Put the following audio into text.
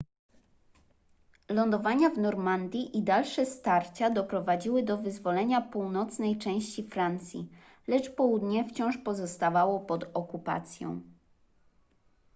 lądowania w normandii i dalsze starcia doprowadziły do wyzwolenia północnej części francji lecz południe wciąż pozostawało pod okupacją